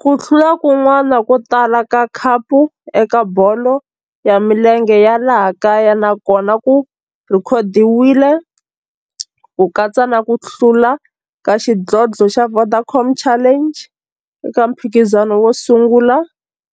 Ku hlula kun'wana ko tala ka khapu eka bolo ya milenge ya laha kaya na kona ku rhekhodiwile, ku katsa na ku hlula ka xidlodlo xa Vodacom Challenge eka mphikizano wo sungula